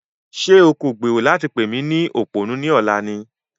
Ṣé o kò gbèrò láti pè mí ní òpònú ní ọ̀la ni?